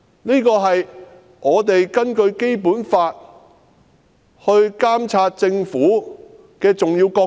這是我們根據《基本法》監察政府的重要角色。